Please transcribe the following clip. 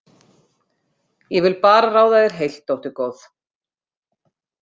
Ég vil bara ráða þér heilt, dóttir góð.